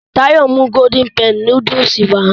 Táyọ̀ mú golden penny núdúsì wá